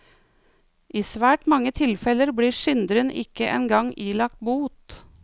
I svært mange tilfeller blir synderen ikke engang ilagt bot.